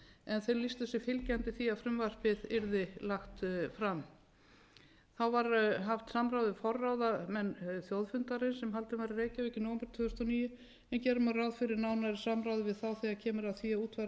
en þau lýstu sig fylgjandi því að frumvarpið yrði lagt fram þá var haft samráð við forráðamenn þjóðfundarins sem haldinn var í reykjavík í nóvember tvö þúsund og níu en gera má ráð fyrir nánari samráði við þá þegar kemur að því að útfæra sjálfar